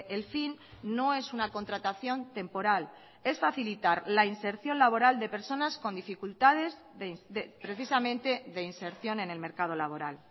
el fin no es una contratación temporal es facilitar la inserción laboral de personas con dificultades precisamente de inserción en el mercado laboral